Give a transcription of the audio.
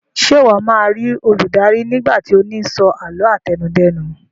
Ṣe iwọ ma ri Oludara nigba ti o ni so àlọ́ àtẹnudẹ́nu